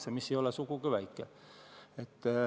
See summa ei ole sugugi väike.